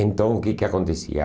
Então, o que que acontecia?